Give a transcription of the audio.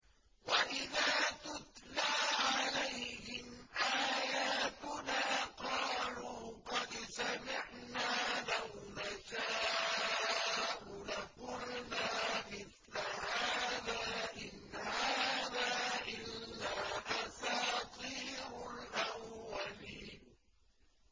وَإِذَا تُتْلَىٰ عَلَيْهِمْ آيَاتُنَا قَالُوا قَدْ سَمِعْنَا لَوْ نَشَاءُ لَقُلْنَا مِثْلَ هَٰذَا ۙ إِنْ هَٰذَا إِلَّا أَسَاطِيرُ الْأَوَّلِينَ